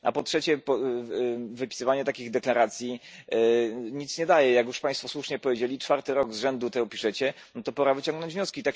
A po trzecie, wypisywanie takich deklaracji nic nie daje. Jak już Państwo słusznie powiedzieli, czwarty rok z rzędu to piszecie, no to pora wyciągnąć wnioski.